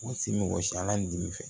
O ti mɔgɔ si la ni dimi fɛ